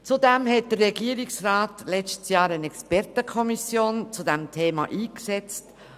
Zudem hat der Regierungsrat letztes Jahr eine Expertenkommission zu diesem Thema eingesetzt.